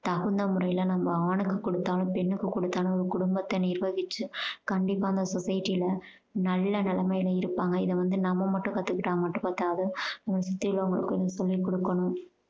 தகுந்த முறையில நம்ம ஆணுக்கு கொடுத்தாலும் பெண்ணுக்கு கொடுத்தாலும் ஒரு கொடும்பத்த நிர்வகிச்சு கண்டிப்பா அந்த society ல நல்ல நிலமைல இருப்பாங்க. இதை வந்து நம்ம மட்டும் கத்துக்கிட்டா மட்டும் பத்தாது. நம்ம சுத்தி உள்ளவங்களுக்கும் சொல்லி கொடுக்கணும்.